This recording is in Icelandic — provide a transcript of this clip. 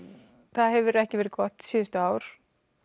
það hefur ekki verið gott síðustu ár